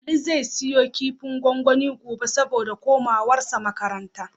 Ali zai siyo kifin gwangwani gobe, saboda komawarsa makaranta.